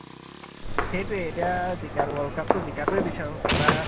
সেইটোৱে এতিয়া জিকা~ world cup তো জিকা তোৱে বিচাৰো । বা